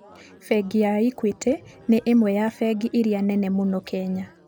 Bengi ya Equity nĩ ĩmwe ya bengi iria nene mũno Kenya.